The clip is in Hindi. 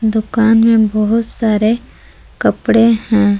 दुकान में बहुत सारे कपड़े हैं।